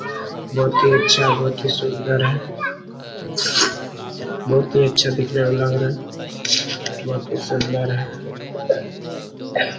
बहुत ही अच्छा बहुत ही सुन्दर है बहुत ही अच्छा देखने में लग रहा है बहुत ही सुन्दर हैं ।